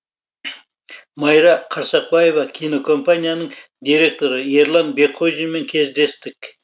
майра қарсақбаева кинокомпанияның директоры ерлан бекхожинмен кездестік